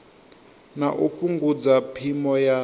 na u fhungudza phimo ya